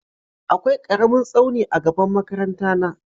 Akwai ƙaramin tsauni a gaban makaranta na.